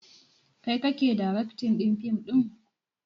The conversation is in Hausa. Kai kake daraktin ɗin fim ɗin?